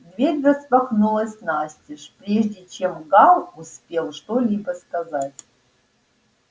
дверь распахнулась настежь прежде чем гаал успел что-либо сказать